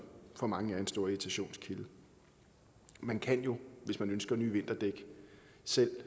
for mange er en stor irritationskilde man kan jo hvis man ønsker nye vinterdæk selv